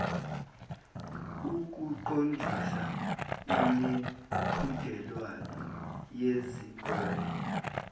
ukuqondisa imiqhudelwano yezikole